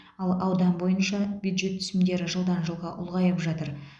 ал аудан бойынша бюджет түсімдері жылдан жылға ұлғайып жатыр